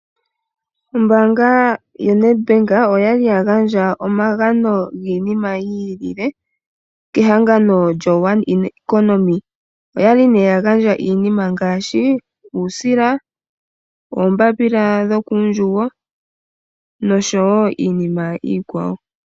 Ombaanga yoNadbank oyali ya gandja omagano giinima yiilile kehangano lyo One Economy oya li ne ya gandja iinima ngaashi uusila, oombapila dho kuundjugo noshowo iinima iikwawo.